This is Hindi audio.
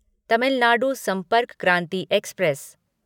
तमिल नाडु संपर्क क्रांति एक्सप्रेस